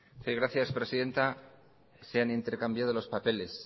sí gracias presidenta se han intercambiado los papeles